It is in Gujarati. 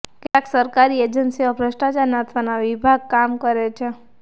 કેટલાક સરકારી એજન્સીઓ ભ્રષ્ટાચાર નાથવાના વિભાગ કામ કરે છે